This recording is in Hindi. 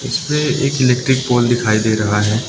इसमें एक इलेक्ट्रिक पोल दिखाई दे रहा है।